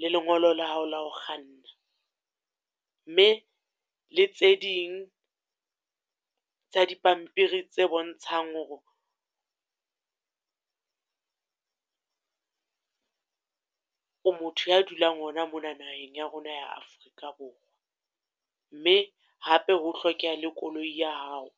le lengolo la hao la ho kganna. Mme le tse ding tsa di pampiri tse bontshang hore o motho ya dulang hona mona naheng ya rona ya Afrika Borwa. Mme hape ho hlokeha le koloi ya hao.